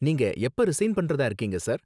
நீங்க எப்ப ரிசைன் பண்றதா இருக்கீங்க சார்?